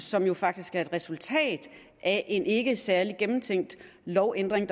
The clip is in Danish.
som jo faktisk er et resultat af en ikke særlig gennemtænkt lovændring